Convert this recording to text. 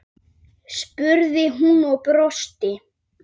spurði hún og brosti.